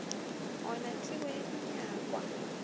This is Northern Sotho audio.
go na tsebo ya dinyakwa